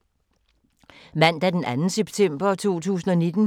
Mandag d. 2. september 2019